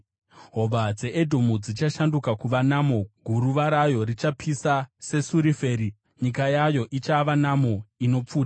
Hova dzeEdhomu dzichashanduka kuva namo, guruva rayo richapisa sesafuri; nyika yayo ichava namo inopfuta!